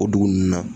O dugu ninnu na